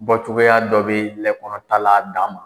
Bɔ cogoyaya dɔ bɛ lɛ kɔrɔta la a. dan ma